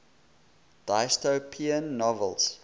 dystopian novels